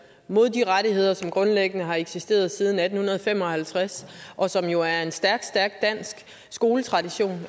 mod de rettigheder som grundlæggende har eksisteret siden atten fem og halvtreds og som jo er en stærk stærk dansk skoletradition